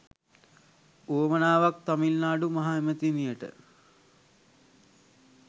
වුවමනාවක් තමිල්නාඩු මහ ඇමතිනියට